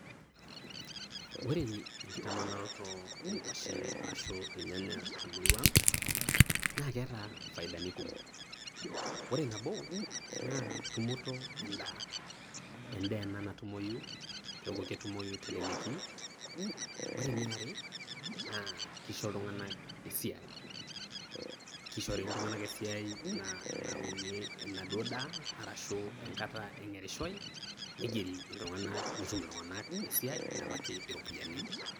Ore enkitamanaroto o nguashin ashu ilnyanya te murua naa keata faidani kumok. Ore nabo, naa tumoto endaa, endaa ena natumoyu keaku ketumoyu teleleki. Ore eniare, naa keisho iltung'ana esiai, keishori iltung'ana esiai nauni enaduo daa arashu enkata eng'erishoi neigeri iltung'ana netum iltung'ana esiai nelaki iropiani.